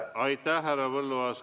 Aitäh, härra Põlluaas!